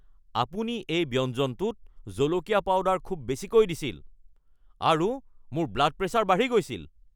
আপুনি এই ব্যঞ্জনটোত জলকীয়া পাউডাৰ খুব বেছিকৈ দিছিল আৰু মোৰ ব্লাড প্ৰেছাৰ বাঢ়ি গৈছিল।